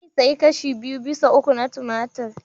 Zai sayi kashi biyu bisa uku na tumatur.